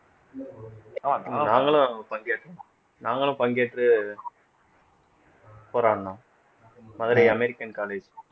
நாங்களும் பங்கேற்றோம் நாங்களும் பங்கேற்று போராடினோம் மதுரை american college